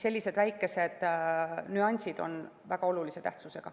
Sellised väikesed nüansid on väga olulise tähtsusega.